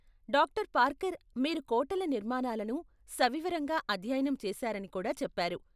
Doctor Parker మీరు కోటల నిర్మాణాలను సవివరంగా అధ్యయనం చేసారని కూడా చెప్పారు.